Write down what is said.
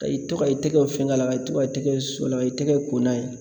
Ka i to ka i tɛgɛw fɛng'a la ka i to ka i tɛgɛ su o la ka i tɛgɛ ko n'a ye.